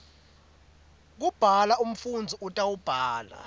kubhala umfundzi utawubhala